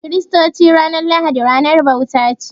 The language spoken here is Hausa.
Ga Kiristoci, ranar lahadi ranar bauta ce.